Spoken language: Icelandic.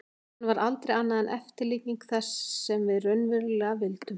Hann var aldrei annað en eftirlíking þess sem við raunverulega vildum.